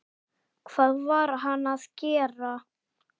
Hvað var hann að gera?